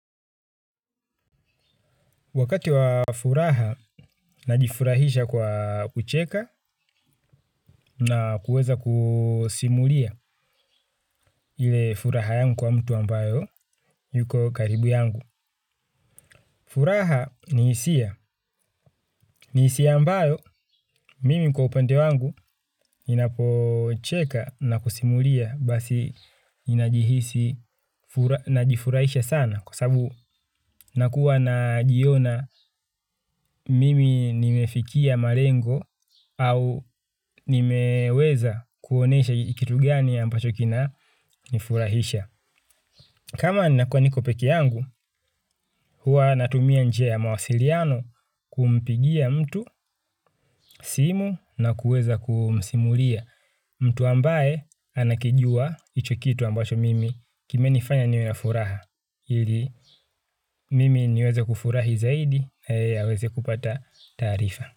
Wakati wa furaha, najifurahisha kwa ucheka na kuweza kusimulia ile furaha yangu kwa mtu ambayo yuko karibu yangu. Furaha ni hisia. Ni hisia ambayo mimi kwa upende wangu ninapocheka na kusimulia basi ninajifurahisha sana. Kwa sababu nakuwa najiona mimi nimefikia malengo au nimeweza kuonesha kitu gani ambacho kinanifurahaisha. Kama nakuwa nikopeke yangu, huwa natumia njia ya mawasiliano kumpigia mtu simu na kuweza kumsimulia. Mtu ambaye anakijua ichokitu ambacho mimi kime nifanya niwena furaha. Hili mimi niweze kufurahi zaidi. Haweze kupata tarifa.